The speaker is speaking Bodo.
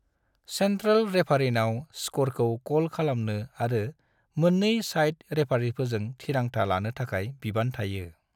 सेन्ट्रैल रेफारिनाव स्क्ररखौ कल खालामनो आरो मोननै साइड रेफारिफोरजों थिरांथा लानो थाखाय बिबान थायो।